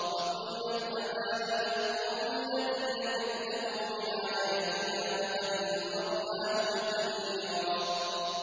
فَقُلْنَا اذْهَبَا إِلَى الْقَوْمِ الَّذِينَ كَذَّبُوا بِآيَاتِنَا فَدَمَّرْنَاهُمْ تَدْمِيرًا